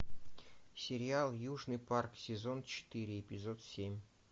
сериал южный парк сезон четыре эпизод семь